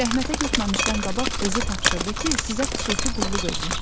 Rəhmətə getməmişdən qabaq özü tapşırdı ki, sizə xüsusi qulluq eləyim.